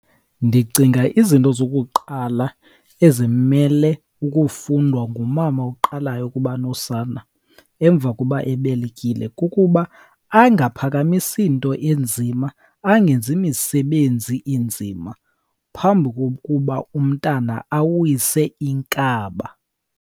Ndicinga izinto zokuqala ezimele ukufundwa ngumama oqalayo ukuba nosana emva koba ebelekile kukuba angaphakamisi nto inzima, angenzi misebenzi inzima phambi kokuba umntana awise inkaba.